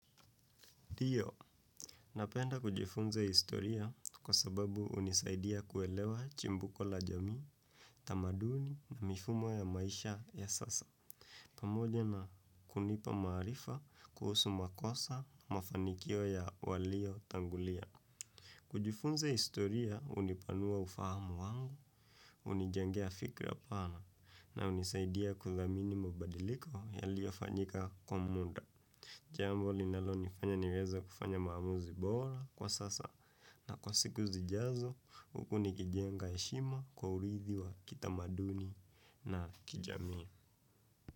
Dio, napenda kujifunza historia kwa sababu hunisaidia kuelewa chimbuko la jamii, tamaduni na mifumo ya maisha ya sasa, pamoja na kunipa maarifa kuhusu makosa mafanikio ya waliotangulia. Kujifunza historia hunipanua ufahamu wangu, h unijengea fikra pana na hunisaidia kuthamini mabadiliko yaliyofanyika kwa muda. Jambo linalonifanya niweze kufanya maamuzi bora kwa sasa na kwa siku zijazo hivo nikijenga heshimu kwa urithi wa kitamaduni na kijamii.